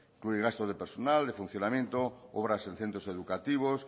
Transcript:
incluye gasto de personal de funcionamiento obras en centros educativos